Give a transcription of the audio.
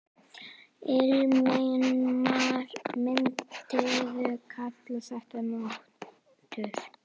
Ingimar: Myndirðu kalla þetta mútur?